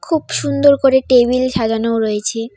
খুব সুন্দর করে টেবিল সাজানোও রয়েছে।